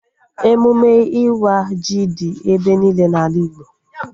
Emụme ịwa ji dị ebe niile n'ala Igbo